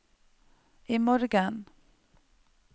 imorgen